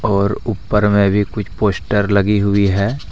और ऊपर में भी कुछ पोस्टर लगी हुई है।